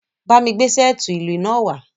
Ba mi gbe seeti ilu naa wa!